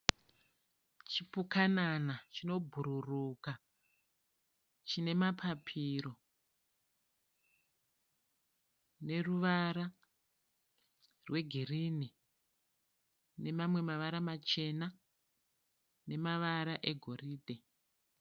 Chipukanana chinobhururuka chine mapapiro neruvara rwegirini nemamwe mavara machena nemavara egoridhe.